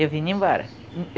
Eu vinha embora.